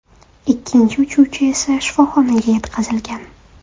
Ikkinchi uchuvchi esa shifoxonaga yetkazilgan.